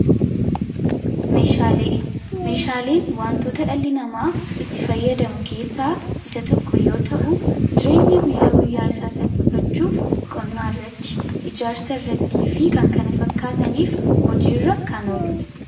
Meeshaaleen wantoota dhalli namaa itti fayyadamu keessaa isa tokko yoo ta'u. ireenya guyyaa guyyaa isaa salphifachuuf qonnaa irratti, ijaarsa irrattii fi kan kana fakkaataniif hojii irra kan oluudha.